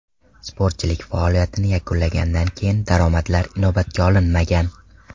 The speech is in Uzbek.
Sportchilik faoliyatini yakunlagandan keyingi daromadlar inobatga olinmagan.